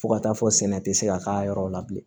Fo ka taa fɔ sɛnɛ tɛ se ka k'a yɔrɔ la bilen